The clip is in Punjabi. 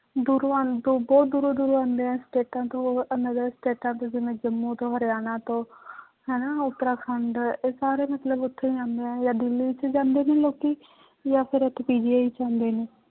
ਦੂਰੋਂ ਆਉਣ ਤੋਂ ਬਹੁਤ ਦੂਰੋਂ ਦੂਰੋਂ ਆਉਂਦੇ ਹੈ ਸਟੇਟਾਂ ਤੋਂ ਅਹ another ਸਟੇਟਾਂ ਤੋਂ ਜਿਵੇਂ ਜੰਮੂ ਤੋਂ ਹਰਿਆਣਾ ਤੋਂ ਹਨਾ ਉਤਰਾਖੰਡ ਇਹ ਸਾਰੇ ਮਤਲਬ ਉੱਥੇ ਜਾਂਦੇ ਹੈ ਜਾਂ ਦਿੱਲੀ ਚ ਜਾਂਦੇ ਨੇ ਲੋਕੀ ਜਾਂ ਫਿਰ ਇੱਥੇ PGI ਚ ਆਉਂਦੇ ਨੇ